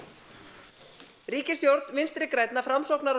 ríkisstjórn Vinstri grænna Framsóknar og